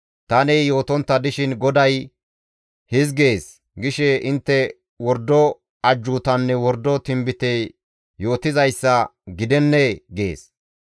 Tani yootontta dishin, ‹GODAY hizgees› gishe intte wordo ajjuutanne wordo tinbite yootizayssa gidennee?» gees.